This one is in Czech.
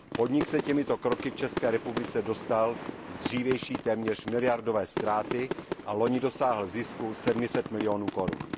Podnik se těmito kroky v České republice dostal z dřívější téměř miliardové ztráty a loni dosáhl zisku 700 milionů korun.